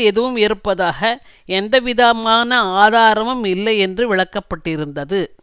எதுவும் இருப்பதாக எந்தவிதமான ஆதாரமும் இல்லையென்று விளக்க பட்டிருந்தது